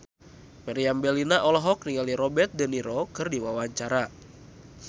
Meriam Bellina olohok ningali Robert de Niro keur diwawancara